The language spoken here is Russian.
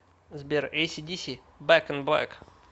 сбер эйси диси бэк ин блэк